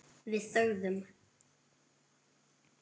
Við þögðum.